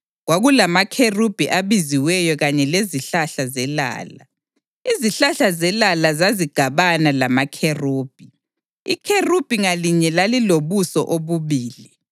kwakulamakherubhi abaziweyo kanye lezihlahla zelala. Izihlahla zelala zazigabana lamakherubhi. Ikherubhi ngalinye lalilobuso obubili: